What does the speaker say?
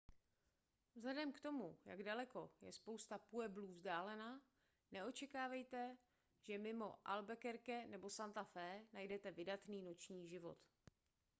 vzhledem k tomu jak daleko je spousta pueblů vzdálena neočekávejte že mimo albuquerque nebo santa fe najdete vydatný noční život